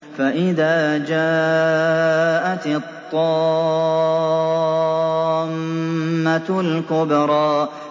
فَإِذَا جَاءَتِ الطَّامَّةُ الْكُبْرَىٰ